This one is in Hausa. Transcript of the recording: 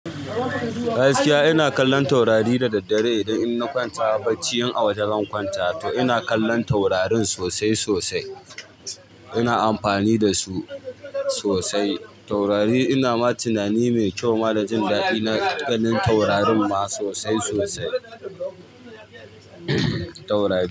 Gaskiya ina kallon taurari da daddare idan inna kwanta bacci in a waje zan kwanta. To ina kallon taurarin sosai sosai. Ina amfani da su sosai taurari. Ina ma tunani mai kyau ma da jin daɗi na ganin taurarin ma sosai sosai, taurari.